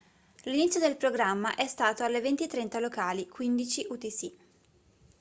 l'inizio del programma è stato alle 20:30 locali 15:00 utc